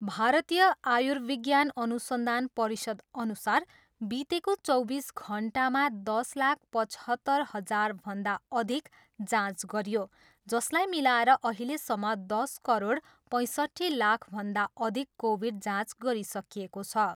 भारतीय आयुर्विज्ञान अनुसन्धान परिषदअनुसार बितेको चौबिस घन्टामा दस लाख पचहत्तर हजारभन्दा अधिक जाँच गरियो जसलाई मिलाएर अहिलेसम्म दस करोड पैँसट्ठी लाखभन्दा अधिक कोभिड जाँच गरिसकिएको छ।